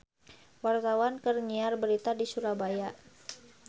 Wartawan keur nyiar berita di Surabaya